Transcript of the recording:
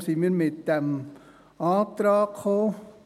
Deshalb sind wir mit diesem Antrag gekommen.